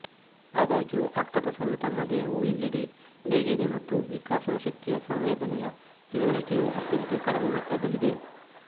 ಆದಾಗ್ಯೂ ಆಕ್ಟೋಪಸ್ ಗಳು ತಮ್ಮ ದೇಹವು ಎಲ್ಲಿದೆ ಹೇಗೆ ಇದೆ ಮತ್ತು ವಿಕಾಸನಾಶಕ್ತಿಯ ಸಂವೇದನೆಯ ತಿಳುವಳಿಕೆಯು ಅತ್ಯಂತ ಕಡಿಮೆ ಮಟ್ಟದಲ್ಲಿದೆ